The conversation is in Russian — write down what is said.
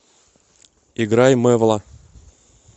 играй мэвла